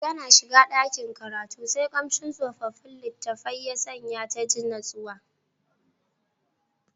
Tana shiga dakin karatu sai kamshin tsofaffin litattafai ya sanya ta ji natsuwa.